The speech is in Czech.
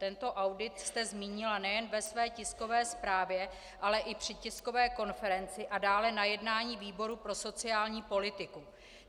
Tento audit jste zmínila nejen ve své tiskové zprávě, ale i při tiskové konferenci a dále na jednání výboru pro sociální politiku.